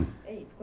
É isso.